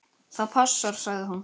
Það passar, sagði hún.